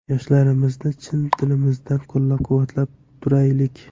Yoshlarimizni chin dilimizdan qo‘llab-quvvatlab turaylik!